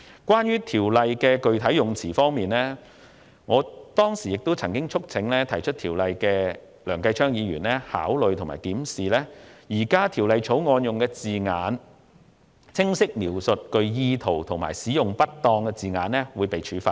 關於《條例草案》的具體用詞，我當時曾促請提出《條例草案》的梁繼昌議員，考慮和檢視現行《條例草案》的字眼，釐清只有在具誤導意圖使用不當稱謂的情況下才會構成罪行。